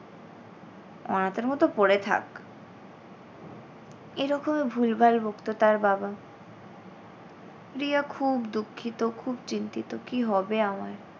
অনাথের মত পড়ে থাক। এরকমই ভুল-ভাল বকতো তার বাবা রিয়া খুব দুঃখিত খুব চিন্তিত কী হবে আমার?